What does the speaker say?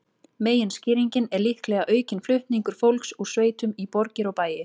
Meginskýringin er líklega aukinn flutningur fólks úr sveitum í borgir og bæi.